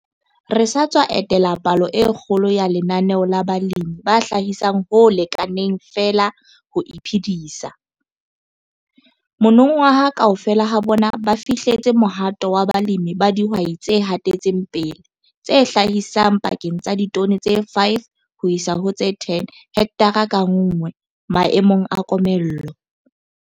Re sa tswa etela palo e kgolo ya lenaneo la balemi ba hlahisang ho lekaneng feela ho iphedisa - monongwaha kaofela ha bona ba fihlelletse mohato wa balemi ba dihwai tse hatetseng pele, tse hlahisang pakeng tsa ditone tse 5 ho isa ho tse 10 hekthara ka nngwe maemong a komello.